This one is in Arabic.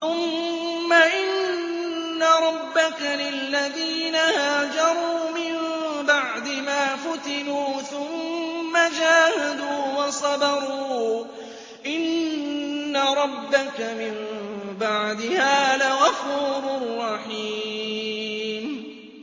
ثُمَّ إِنَّ رَبَّكَ لِلَّذِينَ هَاجَرُوا مِن بَعْدِ مَا فُتِنُوا ثُمَّ جَاهَدُوا وَصَبَرُوا إِنَّ رَبَّكَ مِن بَعْدِهَا لَغَفُورٌ رَّحِيمٌ